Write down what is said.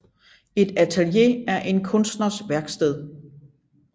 Et atelier er en kunstners værksted